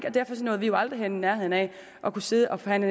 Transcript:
og derfor nåede vi jo aldrig i nærheden af at kunne sidde og forhandle